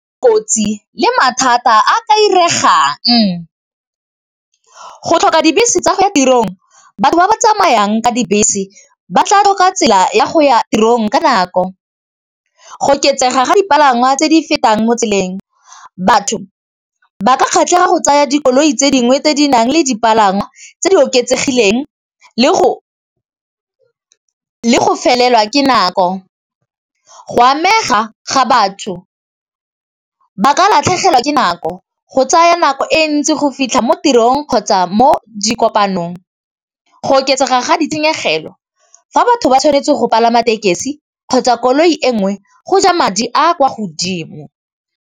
Kotsi le mathata a ka iregang, go tlhoka dibese tsa go ya tirong batho ba ba tsamayang ka dibese ba tla tlhoka tsela ya go ya tirong ka nako, go oketsega ga dipalangwa tse di fetang mo tseleng batho ba ka kgatlhega go tsaya dikoloi tse dingwe tse di nang le dipalangwa tse di oketsegileng le go felelwa ke nako, go amega ga batho ba ka latlhegelwa ke nako go tsaya nako e ntsi go fitlha mo tirong kgotsa mo di kopanong, go oketsega ga ditshenyegelo fa batho ba tshwanetse go palama tekesi kgotsa koloi e nngwe go ja madi a kwa godimo.